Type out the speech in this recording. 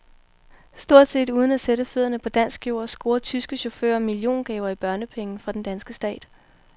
Stort set uden at sætte fødderne på dansk jord scorer tyske chauffører milliongaver i børnepenge fra den danske stat.